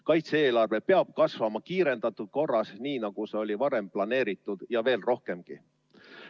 Kaitse-eelarve peab kasvama kiirendatud korras, nii nagu see oli varem planeeritud, ja veel rohkemgi.